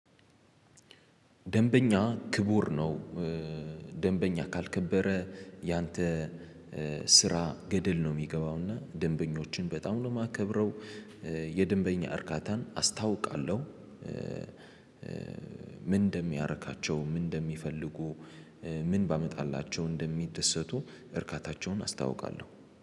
ደንበኛ ክቡር ነው ደንበኛ ካልከበረ ያንተ ስራ ገደል ነው ሚገባው እና ደንበኞችን በጣም ነው ማከብረው። የደንበኛ እርካታን አስታውቃለው። ምን እንደሚያረካቸው ምን እንደሚፈልጉ ምን ባመጣላቸው እንደሚደሰቱ እርካታቸውን አስታውቃለው